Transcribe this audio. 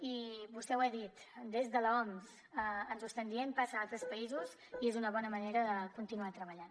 i vostè ho ha dit des de l’oms ens ho estan dient passa a altres països i és una bona manera de continuar treballant